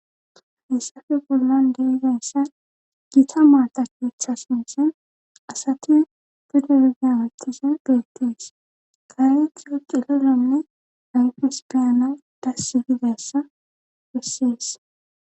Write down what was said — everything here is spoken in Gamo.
hayissappe bollan de'izayisanni gita maata keeththa sinththan asati pude hemetishshe beettees .kareyhtha cilalonne ayifes beyanawu dassi gizayissa bessees.